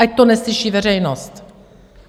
Ať to neslyší veřejnost!